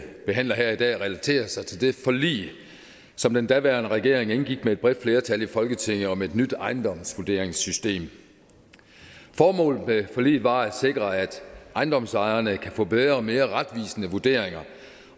behandler her relaterer sig til det forlig som den daværende regering indgik med et bredt flertal i folketinget om et nyt ejendomsvurderingssystem formålet med forliget var at sikre at ejendomsejerne kan få bedre og mere retvisende vurderinger